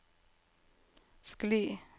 skli